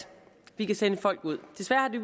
vi kan sende folk ud desværre har